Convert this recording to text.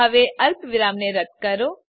હવે અલ્પવિરામને રદ્દ કરો